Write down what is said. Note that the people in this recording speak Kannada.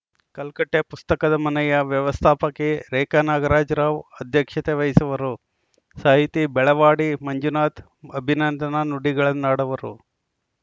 ಕಲ್ಕಟ್ಟೆಪುಸ್ತಕದ ಮನೆಯ ವ್ಯವಸ್ಥಾಪಕಿ ರೇಖಾ ನಾಗರಾಜ್‌ ರಾವ್‌ ಅಧ್ಯಕ್ಷತೆ ವಹಿಸುವರು ಸಾಹಿತಿ ಬೆಳವಾಡಿ ಮಂಜುನಾಥ್‌ ಅಭಿನಂದನಾ ನುಡಿಗಳನ್ನಾಡುವರು